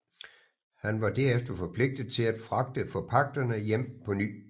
Han var derefter forpligtet til at fragte forpagterne hjem på ny